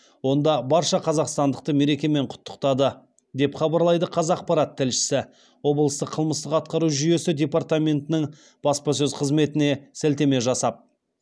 онда барша қазақстандықты мерекемен құттықтады деп хабарлайды қазақпарат тілшісі облыстық қылмыстық атқару жүйесі департаментінің баспасөз қызметіе сілтеме жасап